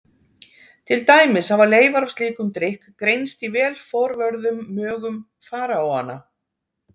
Til dæmis hafa leifar af slíkum drykk greinst í vel forvörðum mögum faraóanna.